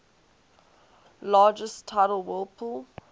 largest tidal whirlpool